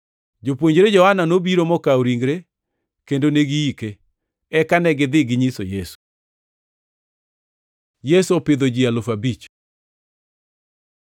Jopuonjre Johana nobiro mokawo ringre kendo ne giike. Eka negidhi ginyiso Yesu. Yesu opidho ji alufu abich